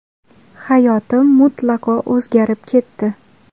Hayotim mutlaqo o‘zgarib ketdi.